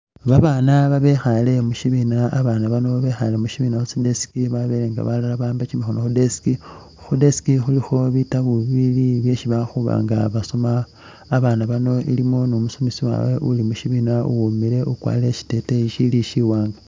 Ba bana babekhale mu shibiina, ba bana bano bekhale mushibiina khu tsi desk babele nga balala ba'amba kyimikhono kyabwe khu desk khu desk khulikho bitabo bili byesi bakhuba nga basoma, ba bana bano ilimo ni umusomesa wawe uli mu shibina uwimile ukwarire shi teteyi shili shi wanga.